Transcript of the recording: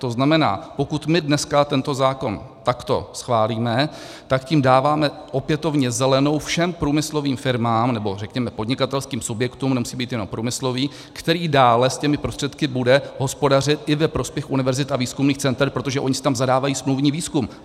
To znamená, pokud my dneska tento zákon takto schválíme, tak tím dáváme opětovně zelenou všem průmyslovým firmám, nebo řekněme podnikatelským subjektům, nemusí být jenom průmyslové, které dále s těmi prostředky budou hospodařit i ve prospěch univerzit a výzkumných center, protože oni si tam zadávají smluvní výzkum.